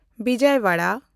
ᱵᱤᱡᱚᱭᱟᱣᱟᱲᱟ